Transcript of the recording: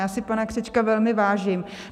Já si pana Křečka velmi vážím.